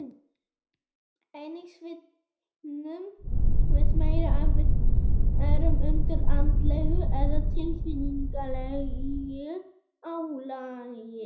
Einnig svitnum við meira ef við erum undir andlegu eða tilfinningalegu álagi.